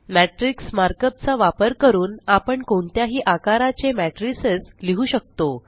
matrix markup चा वापर करून आपण कोणत्याही आकाराचे मॅट्रिसेस लिहु शकतो